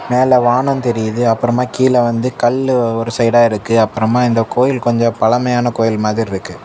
மேல வானம் தெரியுது அப்புறமா கீழ வந்து கல்லு ஒரு சைடா இருக்கு அப்புறமா இந்த கோயில் கொஞ்ச பழமையான கோயில் மாதிரி இருக்கு.